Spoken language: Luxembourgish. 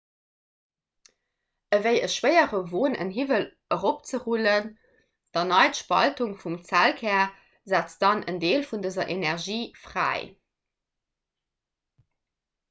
ewéi e schwéiere won en hiwwel eropzerullen d'erneit spaltung vum zellkär setzt dann en deel vun dëser energie fräi